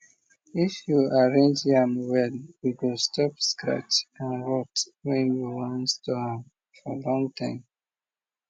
if you arrange yam well e go stop scratch and rot when you wan store am for long time